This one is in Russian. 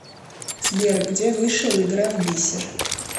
сбер где вышел игра в бисер